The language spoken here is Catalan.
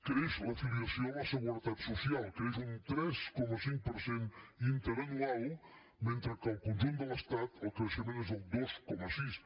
creix la filiació a la seguretat social creix un tres coma cinc per cent interanual mentre que al conjunt de l’estat el creixement és del dos coma sis